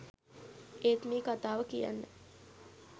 ඒත් මේ කතාව කියන්න